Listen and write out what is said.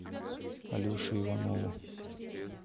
алеше иванову